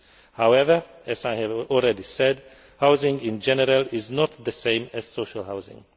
However, as I have already said, housing in general is not the same as social housing.